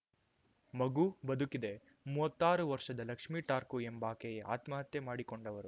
ಮಗು ಬದುಕಿದೆ ಮೂವತ್ತಾರು ವರ್ಷದ ಲಕ್ಷ್ಮೇ ಠಾರ್ಕೂ ಎಂಬಾಕೆಯೇ ಆತ್ಮಹತ್ಯೆ ಮಾಡಿಕೊಂಡವರು